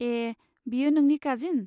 ए, बियो नोंनि काजिन?